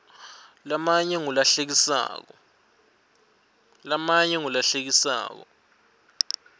lamanye ngula hlekisako